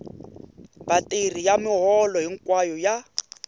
vatirhi ya miholo hinkwayo ya